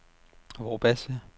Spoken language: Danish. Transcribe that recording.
Vorbasse